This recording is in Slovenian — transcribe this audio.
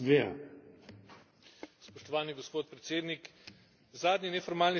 Spoštovani gospod predsednik, zadnji neformalni Svet je bil nadvse pomemben.